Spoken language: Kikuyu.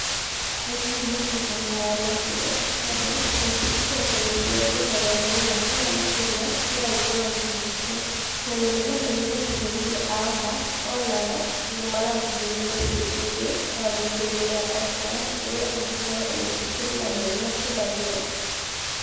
Aikari a mũgũnda wa Lockwood Gardens metĩkĩtie atĩmĩciĩ ingĩ mĩrongo ĩna kana makĩria no ikorũo ikĩingatwo, tondũ nĩ mamenyire atĩ borithi a OHA o nao nĩ marathuthuria mĩciĩ ĩngĩ ya mũingĩ thĩinĩ wa Oakland ĩrĩa ĩngĩkorũo ĩnyitĩtwo nĩ maheni macio ma nyũmba.